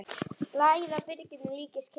Lagið á byrginu líkist kirkju.